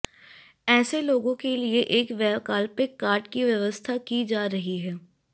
ऐसे लोगों के लिए एक वैकल्पिक कार्ड की व्यवस्था की जा रही है